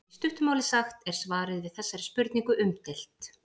Í stuttu máli sagt er svarið við þessari spurningu umdeilt.